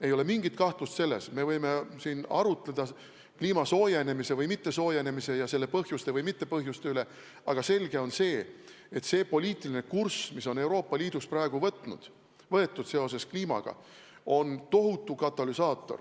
Ei ole mingit kahtlust selles, me võime siin arutleda kliima soojenemise või mittesoojenemise ja selle põhjuste või mittepõhjuste üle, aga selge on, et poliitiline kurss, mis on Euroopa Liidus praegu võetud seoses kliimaga, on tohutu katalüsaator